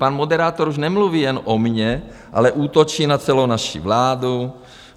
Pan moderátor už nemluví jen o mně, ale útočí na celou naši vládu.